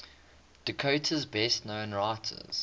dakota's best known writers